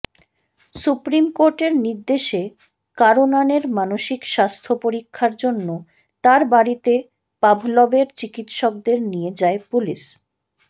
supreme কোর্টের নির্দেশে কারনানের মানসিক স্বাস্থ্য পরীক্ষার জন্য তাঁর বাড়িতে পাভলভের চিকিৎসকদের নিয়ে যায় পুলিশ